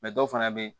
dɔw fana bɛ yen